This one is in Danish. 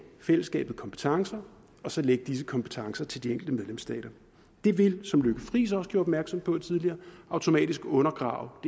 fællesskabet kompetencer og så lægge disse kompetencer ud til de enkelte medlemsstater det ville som fru lykke friis også gjorde opmærksom på tidligere automatisk undergrave